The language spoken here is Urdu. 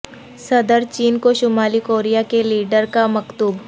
صدر چین کو شمالی کوریا کے لیڈر کا مکتوب